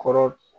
Kɔrɔ